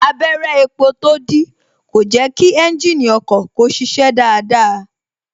Abẹrẹ epo tó dí kò jẹ kí ẹ́ńjìnì ọkọ̀ kó ṣiṣẹ́ dáadáa